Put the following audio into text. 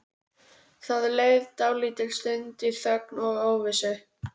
Það leið dálítil stund í þögn og óvissu.